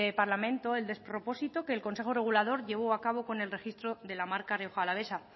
parlamento el despropósito que el consejo regulador llevó a cabo con el registro de la marca rioja alavesa